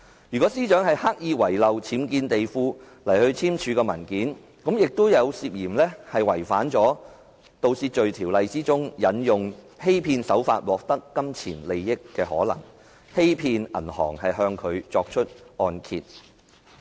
如果司長是刻意在按揭文件隱瞞僭建地庫，亦涉嫌觸犯了《盜竊罪條例》中，"以欺騙手段……取得金錢利益"一罪，欺騙銀行向她批出按揭。